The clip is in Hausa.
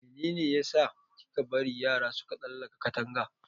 Mene ne ya sa kika bari yara suka tsalaka Katanga?